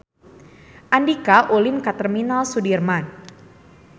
Andika ulin ka Terminal Sudirman